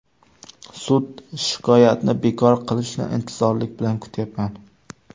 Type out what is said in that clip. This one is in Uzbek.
Sud shikoyatni bekor qilishini intizorlik bilan kutyapman.